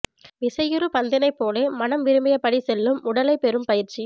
விசையுறு பந்தினைப் போலே மனம் விரும்பியபடி செல்லும் உடலைப் பெறும் பயிற்சி